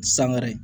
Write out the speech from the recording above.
Sangare